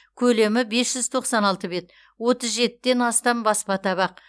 көлемі бес жүз тоқсан алты бет отыз жетіден астам баспа табақ